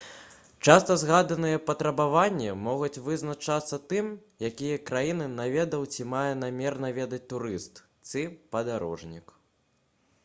часта згаданыя патрабаванні могуць вызначацца тым якія краіны наведаў ці мае намер наведаць турыст ці падарожнік